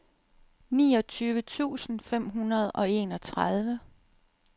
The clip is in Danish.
niogtyve tusind fem hundrede og enogtredive